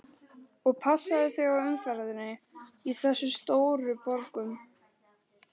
Og passaðu þig á umferðinni í þessum stóru borgum.